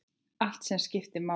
Allt sem máli skipti.